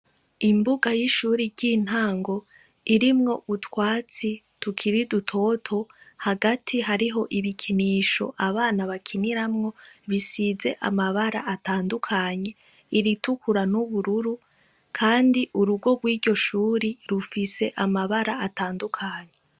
Imbuga y'ishuri ry'intango irimwo utwatsi tukiri dutoto hagati harimwo ibikinisho abana bakiniramwo bisize amabara atandukanye iritukura n'ubururu kandi urugo rwiryo shuri rufise amabara atandukanye.